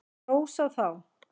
Hrós á þá!